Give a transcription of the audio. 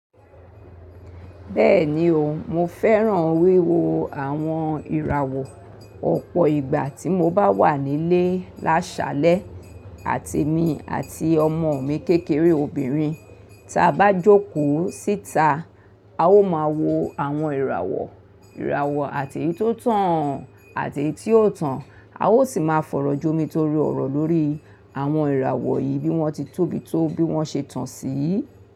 Bẹ́ẹ̀ni o, mo fẹ́ràn wíwo àwọn ìràwọ̀ ọ̀pọ̀ ìgbà tí mo bá wà nílé lásalẹ́ àti mi àti ọmọ mi kékeré obìnrin tí a bá jókòó síta. A ó máa wo àwọn ìràwọ̀, ìràwọ̀ àti èyí tó tàn àti èyí tí ò tàn. A ó sì máa fọ̀rọ̀ jomi torí ọ̀rọ̀ lórí àwọn ìràwọ̀ yìí bí wọ́n ti tóbi tó bí wọ́n ṣe tàn síi.